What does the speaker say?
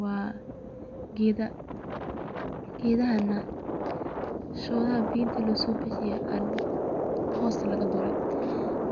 Wa gedaha oo shodaha inti biyo lagasobuxiye oo